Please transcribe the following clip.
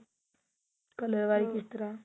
color ਵਾਲੀ ਕਿਸ ਤਰਾਂ